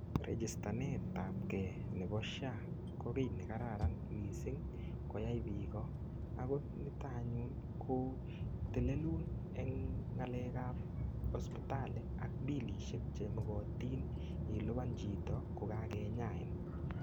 Rijitanet ab ke nebo SHA ko kiy nekararan mising koyai biik. go niton anyun ko telelun eng ng'alek ab hosipitali ak billisiek chemogotin ilipan chito kogakinyain.